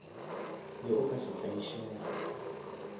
be o ka se tlaišege